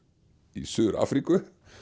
í Suður Afríku